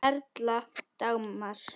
Þín Erla Dagmar.